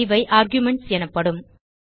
இவை ஆர்குமென்ட்ஸ் எனப்படும்